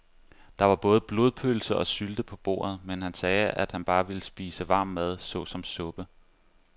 Der var både blodpølse og sylte på bordet, men han sagde, at han bare ville spise varm mad såsom suppe.